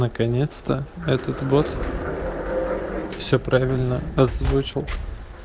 наконец-то этот бот все правильно озвучил